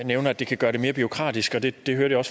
nævner at det kan gøre det mere bureaukratisk og det det hørte jeg